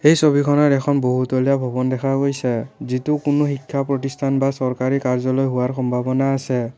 এই ছবিখনত এখন বহুতলীয়া ভৱন দেখা গৈছে যিটো কোনো শিক্ষা প্ৰতিষ্ঠান বা চৰকাৰী কাৰ্য্যালয় হোৱাৰ সম্ভাৱনা আছে।